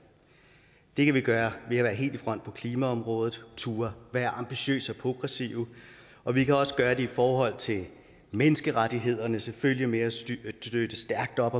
det kan vi gøre ved at være helt i front på klimaområdet og turde at være ambitiøse og progressive og vi kan også gøre det i forhold til menneskerettighederne og selvfølgelig ved at støtte stærkt op